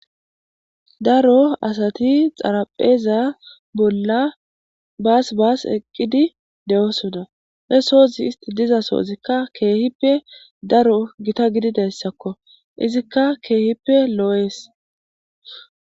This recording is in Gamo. Daro asati xaraphpheza bolla baas baasi eqidii dosonna isti diza sohozi keehippe giitta gidida sohokko izikka keehippe lo'es